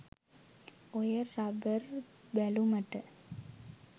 ඔය රබර් බැලුමට